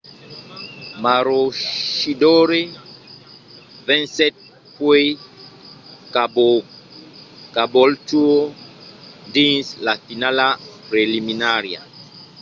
maroochydore vencèt puèi caboolture dins la finala preliminària